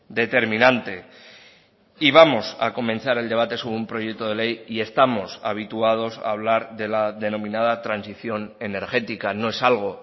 determinante y vamos a comenzar el debate sobre un proyecto de ley y estamos habituados a hablar de la denominada transición energética no es algo